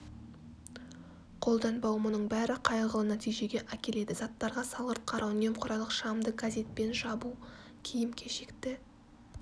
қолданбау мұның бәрі қайғылы нәтижеге әкеледі заттарға салғырт қарау немқұрайлылық шамды газетпен жабу киім кешекті